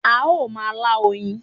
A ó ma lá oyin